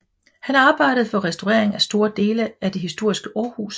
Han arbejdede for restaurering af store dele af det historiske Aarhus